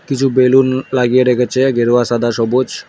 কিছু বেলুন লাগিয়ে রেখেছে গেরুয়া সাদা সবুজ।